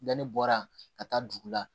Yanni bɔra ka taa dugu la